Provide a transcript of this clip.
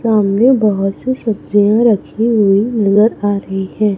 सामने बहुत सी सब्जियां रखी हुई नजर आ रही हैं।